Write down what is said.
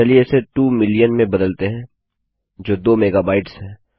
चलिए इसे 2 मिलियन में बदलते हैं जो 2 मेगाबाइट्स है